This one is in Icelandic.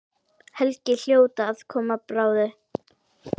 Helgi hljóta að koma bráðum.